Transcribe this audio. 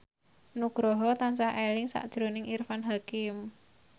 Nugroho tansah eling sakjroning Irfan Hakim